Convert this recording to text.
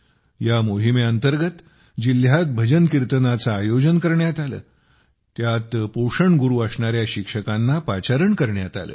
या मोहिमे अंतर्गत जिल्ह्यात भजनकीर्तनाचे आयोजन करण्यात आले त्यात पोषण गुरू असणाऱ्या शिक्षकांना पाचारण करण्यात आले